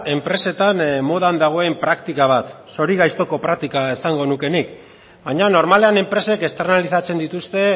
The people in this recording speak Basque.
enpresetan modan dagoen praktika bat zorigaiztoko praktika esango nuke nik baina normalean enpresek externalizatzen dituzte